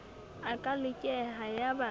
a ka lekeha ya ba